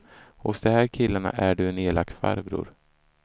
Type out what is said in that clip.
Hos de här killarna är du en elak farbror.